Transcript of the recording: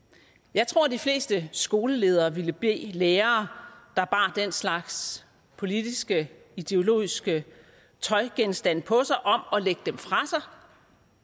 jeg tror de fleste skoleledere ville bede lærere der bar den slags politiske ideologiske tøjgenstande på sig om at lægge dem fra